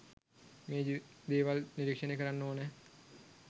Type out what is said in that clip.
මේ දේවල් නිරීක්‍ෂණය කරන්න ඕන